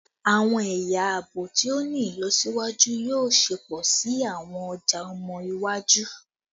Awọn ẹya aabo ti o ni ilọsiwaju yoo ṣepọ si awọn ọja ọmọ iwaju